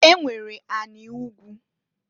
E nwere anị ugwu.